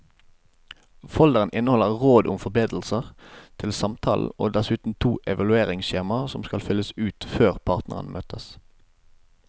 Folderen inneholder råd om forberedelser til samtalen og dessuten to evalueringsskjemaer som skal fylles ut før partene møtes.